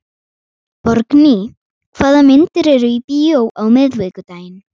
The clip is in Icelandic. Borgný, hvaða myndir eru í bíó á miðvikudaginn?